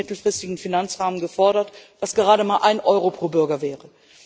EUR im nächsten mittelfristigen Finanzrahmen gefordert, was gerade mal ein Euro pro Bürger wäre.